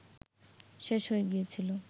শেষ হয়ে গিয়েছিল